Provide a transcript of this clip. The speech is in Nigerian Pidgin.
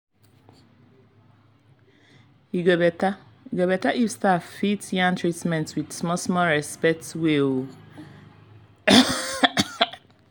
e go better if staff fit yarn treatments with small small respect way.